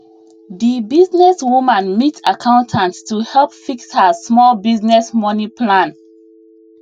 the business woman meet accountant to help fix her small business money plan